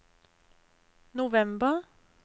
november